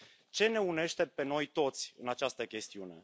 Ce ne unește pe noi toți în această chestiune?